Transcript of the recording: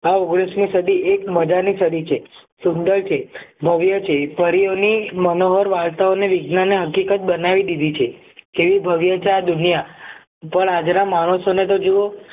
આ ઓગણીસ મી સદી એક મજાની સદી છે સુંદર છે ભવ્ય છે પરીઓની ની મનોહર વાર્તા ઓ ને વિજ્ઞાન ને હકીકત બનાવી દીધી છે કેવી ભવ્ય આ દુનિયા પણ આજના માણસોને તો જુઓ